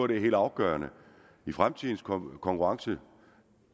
det er helt afgørende i fremtidens konkurrence